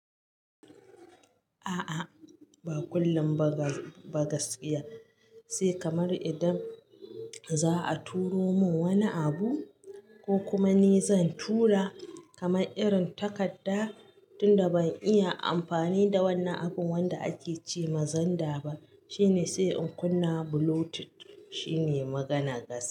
A'a, ba kullum ba gaskiya. Sai kamar idan za a turo mun wani abu ko kuma ni zan tura kamar irin takarda tunda ban iya amfani da wannan abun wanda ake ce ma "Xender" ba shine sai in kunna Bluetooth shine maganar gaskiya.